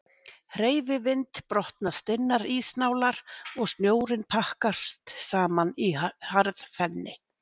Hreyfi vind brotna stinnar ísnálarnar og snjórinn pakkast saman í harðfenni.